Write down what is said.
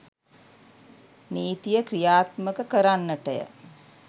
නීතිය ක්‍රියාත්මක කරන්නටය.